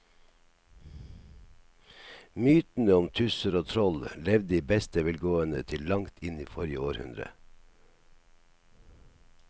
Mytene om tusser og troll levde i beste velgående til langt inn i forrige århundre.